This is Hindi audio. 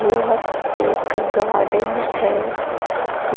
यह एक गार्डन हैं